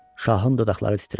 Şahın dodaqları titrədi.